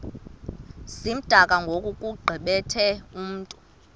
zimdaka ngokugqithe mntu